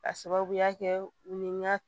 K'a sababuya kɛ u ni n ka